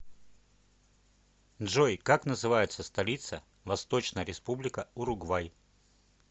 джой как называется столица восточная республика уругвай